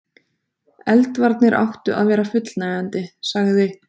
Eldvarnir áttu að vera fullnægjandi.- sagði